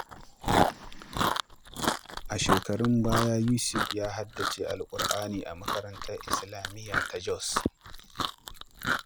A shekarun baya, Yusuf ya haddace Alƙur’ani a makarantar Islamiyya ta Jos.